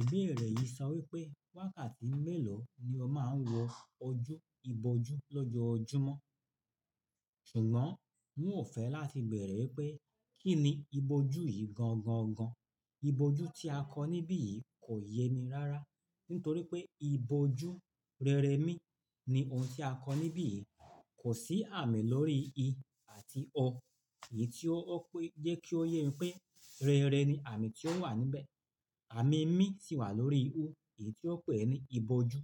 Ibeere yìí sọ wípé wákàtí mélòó ni ó máa ń wọ ojú ibojú lọ́jọ́ ojúmọ́. Ṣùgbọ́n, n ò fẹ́ láti beẹ̀rẹ̀ wípé kín ni ìbòjú yìí gan gan gan. Ibojú tí a kọ́ níbí yìí kò yé mi rárá. Nítorí pé ìbòjú rere mí ní ohun tí a kọ́ níbí yìí. Kò sí àmì lórí i àti ọ, èyí tí ó pé jẹ́ kí ó yé mi pé rere ni àmì tí ó wà níbẹ̀. Àmì mí si wà lórí o, èyí tí ó pè ní ìbòjú.